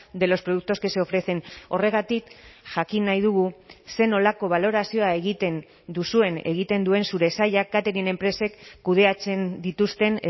de los productos que se ofrecen horregatik jakin nahi dugu zer nolako balorazioa egiten duzuen egiten duen zure sailak catering enpresek kudeatzen dituzten